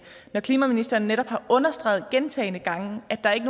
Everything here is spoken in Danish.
når klimaministeren netop har understreget gentagne gange at der ikke